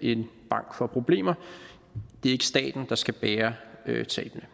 en bank får problemer det er ikke staten der skal bære tabene